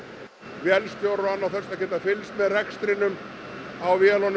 vélstjórar og annað þess háttar geta fylgst með rekstrinum á vélunum